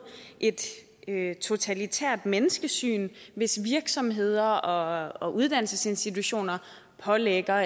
et totalitært menneskesyn hvis virksomheder og og uddannelsesinstitutioner pålægger